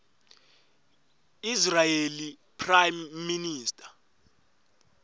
israeli prime minister